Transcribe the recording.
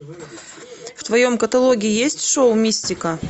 в твоем каталоге есть шоу мистика